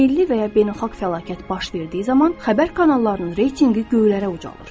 Milli və ya beynəlxalq fəlakət baş verdiyi zaman xəbər kanallarının reytinqi göylərə ucalır.